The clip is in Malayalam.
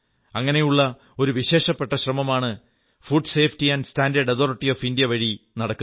അങ്ങനെയുള്ള ഒരു വിശേഷപ്പെട്ട ശ്രമമാണ് food safety and standard authority of India വഴിയായി നടക്കുന്നത്